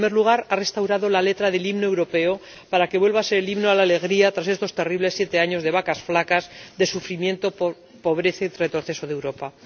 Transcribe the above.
En primer lugar, ha restaurado la letra del himno europeo, para que vuelva a ser el Himno a la Alegría, tras estos terribles siete años de vacas flacas, de sufrimiento, pobreza y retroceso de Europa.